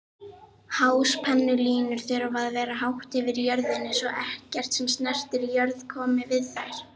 Háspennulínur þurfa að vera hátt yfir jörðinni svo ekkert sem snertir jörð komi við þær.